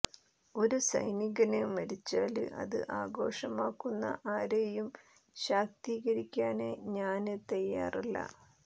ഒരു സൈനികന് മരിച്ചാല് അത് ആഘോഷമാക്കുന്ന ആരെയും ശാക്തീകരിക്കാന് ഞാന് തയാറല്ല